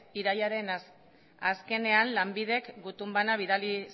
irailaren azkenean lanbidek gutun bana bidali